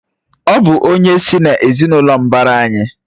Ọ bụ onye sị́ n'ezinụlọ mbara anyị